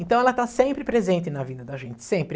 Então ela está sempre presente na vida da gente, sempre.